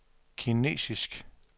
kinesisk